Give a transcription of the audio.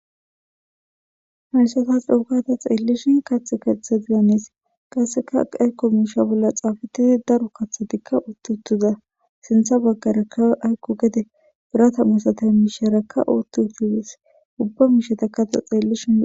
Hayssatas dhoukata xeellishin kath kathe dizaniis qasseka aykko miisha bolla xaafatidi daro kathotikka uotti uttuza sintha baggara kawe aykko gede birata musata miisherakka uotti uttudis ubba miishetakato xeellishin.